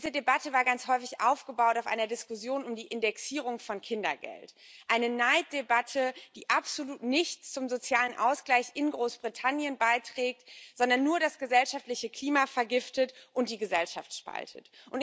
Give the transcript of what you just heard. Diese Debatte war ganz häufig auf einer Diskussion um die Indexierung von Kindergeld aufgebaut eine Neiddebatte, die absolut nichts zum sozialen Ausgleich in Großbritannien beiträgt, sondern nur das gesellschaftliche Klima vergiftet und die Gesellschaft spaltet.